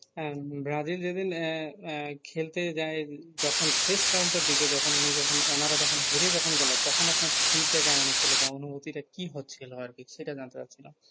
হ্যাঁ ব্রাজিল যে দিন আহ আহ খেলতে যায় যখন round টা দিকে উনি যখন ওনারা যখন হেরে গেলো তখন আপনার feel টা কেমন হচ্ছিলো বা অনুভূতটা কি হচ্ছিলো আর কি সেটা জানতে চাচ্ছিলাম?